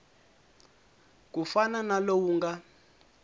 ku fana na lowu nga